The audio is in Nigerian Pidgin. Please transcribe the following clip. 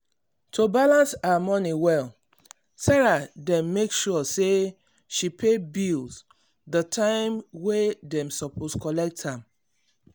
to balance her money well sarah dey make sure say she pay bills the time wey dem suppose collect am.